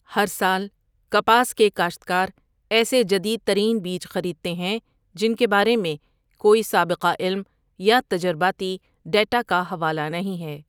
ہر سال کپاس کے کاشتکار ایسے جدید ترین بیج خریدتے ہیں جن کے بارے میں کوئی سابقہ علم یا تجرباتی ڈیٹا کا حوالہ نہیں ہے۔